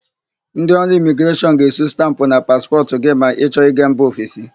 Ndị ọrụ Imigreshọn ga-esu stampụ na paspọtụ gị ma ị chọ ịga mba ọfesi.